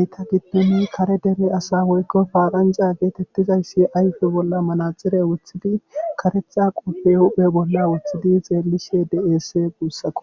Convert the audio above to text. ettappene kare dere asa woykko paranja getetidaysi ayfe bolla manaxire kareththa qoophe huuphiya bolla wothidi xeelishe dee'ees guussakko.